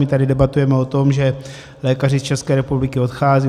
My tady debatujeme o tom, že lékaři z České republiky odcházejí.